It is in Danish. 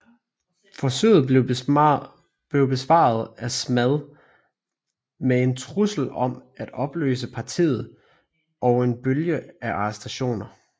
Forsøget blev besvaret af SMAD med en trussel om at opløse partiet og en bølge af arrestationer